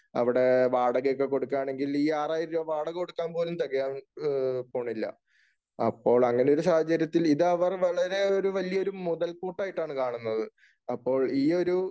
അവിടെ വാടകയൊക്കെ കൊടുക്കുകയാണെങ്കിൽ ഈ ആറായിരം രൂപ വാടക കൊടുക്കാൻ പോലും തെകയാൻ പോണില്ല. അപ്പോൾ അങ്ങനെ ഒരു സാഹചര്യത്തിൽ ഇത് അവർ വളരെ വലിയ ഒരു മുതൽകൂട്ടായിട്ടാണ് കാണുന്നത്. അപ്പോൾ ഈ ഒരു